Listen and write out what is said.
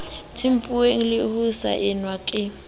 tempuweng le ho saenwa ke